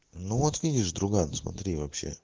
ну вот видишь друган смотри вообще